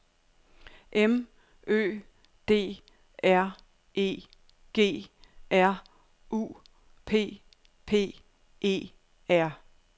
M Ø D R E G R U P P E R